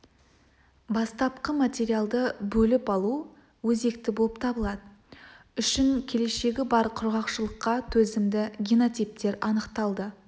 бастапқы материалды бөліп алу өзекті болып табылады үшін келешегі бар құрғақшылыққа төзімді генотиптер анықталды